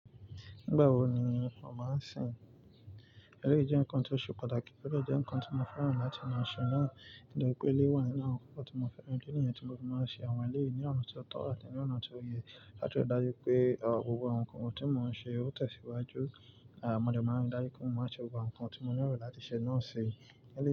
Nígbà wo ni ó máa ń sìn? Ẹleyii jẹ́ nǹkan tó ṣe pàtàkì, o de jẹ́ nǹkan tí mo fẹ́ràn láti máa ṣe náà. Nítorí pé eleyii wà nínú àwọn nǹkan tí mo fẹ́ràn, idi niyen tí mo ti máa ń ṣe àwọn èlé ní ọ̀nà tí ó tọ́ àti ní ọ̀nà tí ó yẹ. Láti rí dájú pé gbogbo àwọn nkan ohun tí mo ń ṣe ó tẹ̀síwájú. Mọ dé máa ń rí dájú pé wọn máa ṣe àwọn nǹkan tí mo lero láti ṣe náà ṣi.